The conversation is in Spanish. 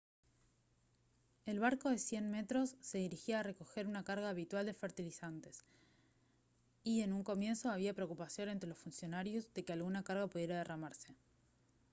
el barco de 100 metros se dirigía a recoger su carga habitual de fertilizantes y en un comienzo había preocupación entre los funcionarios de que alguna carga pudiera derramarse